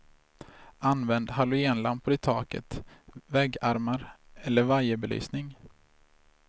Använd halogenlampor i taket, väggarmar eller vajerbelysning.